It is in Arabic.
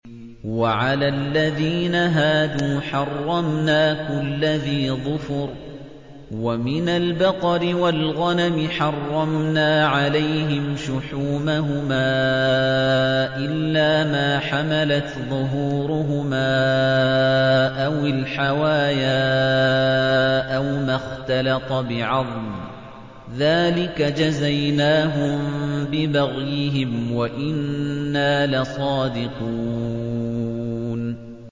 وَعَلَى الَّذِينَ هَادُوا حَرَّمْنَا كُلَّ ذِي ظُفُرٍ ۖ وَمِنَ الْبَقَرِ وَالْغَنَمِ حَرَّمْنَا عَلَيْهِمْ شُحُومَهُمَا إِلَّا مَا حَمَلَتْ ظُهُورُهُمَا أَوِ الْحَوَايَا أَوْ مَا اخْتَلَطَ بِعَظْمٍ ۚ ذَٰلِكَ جَزَيْنَاهُم بِبَغْيِهِمْ ۖ وَإِنَّا لَصَادِقُونَ